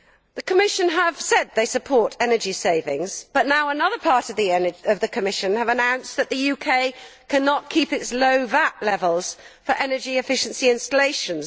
The Commission has said that it supports energy savings, but now another part of the Commission has announced that the UK cannot keep its low VAT levels for energy efficiency installations.